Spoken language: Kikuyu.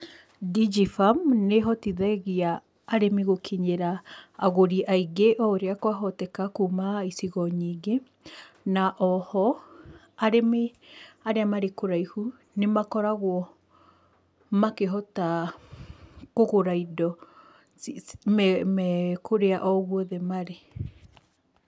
Digifarm nĩ ĩhotithagia arĩmi gũkinyĩra agũri aingĩ o ũrĩa kwahoteka kuma icigo nyingĩ, na o ho, arĩmi arĩa marĩ kũraihu, nĩ makoragwo makĩhota kũgũra indo, me kũrĩa o guothe marĩ.